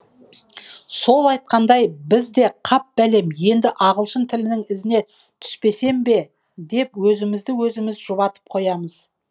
сол айтқандай біз де қап бәлем енді ағылшын тілінің ізіне түспесем бе деп өзімізді өзіміз жұбатып қоямыз